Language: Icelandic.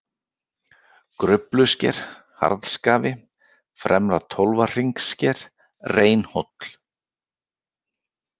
Gruflusker, Harðskafi, Fremra-Tólfahringssker, Reynhóll